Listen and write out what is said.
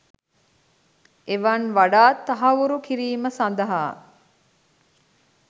එවන් වඩාත් තහවුරු කිරීම සඳහා